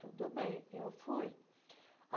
Tudo bem, eu fui.